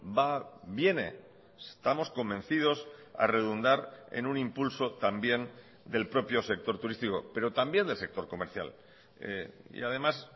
va viene estamos convencidos a redundar en un impulso también del propio sector turístico pero también del sector comercial y además